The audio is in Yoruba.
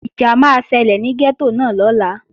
Ìjà máa ṣẹlẹ̀ ní gẹ́tò náà lọ́la